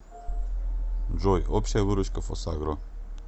джой общая выручка фосагро